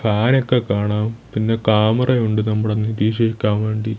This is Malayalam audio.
ഫാനൊക്കെ കാണാം പിന്നെ ക്യാമറ ഉണ്ട് നമ്മുടെ നിരീക്ഷിക്കാൻ വേണ്ടി.